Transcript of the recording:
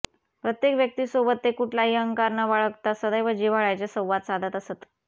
प्रत्येक व्यक्ती सोबत ते कुठलाही अहंकार न बाळगता सदैव जिव्हाळ्याने संवाद साधत असत